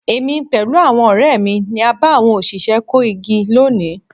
Èmi pẹ̀lú àwọn ọ̀rẹ́ mi ni a bá àwọn òṣìṣẹ́ kó igi lónìí.